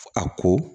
A ko